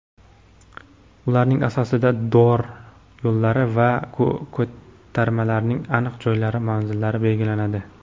ularning asosida dor yo‘llari va ko‘tarmalarning aniq joylashuv manzillari belgilanadi.